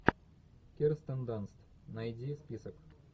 кирстен данст найди список